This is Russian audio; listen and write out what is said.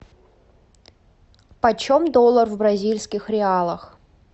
почем доллар в бразильских реалах